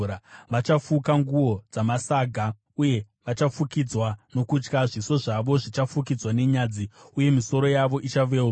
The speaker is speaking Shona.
Vachafuka nguo dzamasaga uye vachafukidzwa nokutya. Zviso zvavo zvichafukidzwa nenyadzi uye misoro yavo ichaveurwa.